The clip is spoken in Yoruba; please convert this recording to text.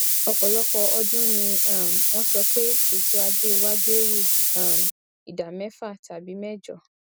ọpọlọpọ ọdún ni um won sọ pé ètò ajé wa gbèrú um ìdá mẹfà tàbí mẹjọ